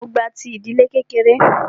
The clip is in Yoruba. Mó gba ti ìdílé kékeré.